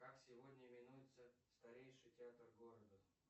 как сегодня именуется старейший театр города